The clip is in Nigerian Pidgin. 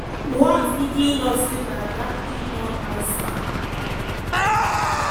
walz quickly note say na “damning non-answer”.